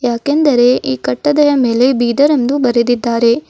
ಯಾಕೆಂದರೆ ಈ ಕಟ್ಟಡದ ಮೇಲೆ ಬೀದರ್ ಎಂದು ಬರೆದಿದ್ದಾರೆ.